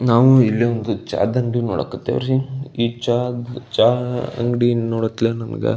ನಾವು ಇಲ್ಲಿ ಒಂದು ಚಹದ್ ಅಂಗಡಿ ನೋಡಕ್ ಹತ್ತೀವ್ರಿ ಈ ಚಾ ದ್ ಚಾ ಅಂಗಡಿ ನೋಡತ್ಲೆ ನಮಗ--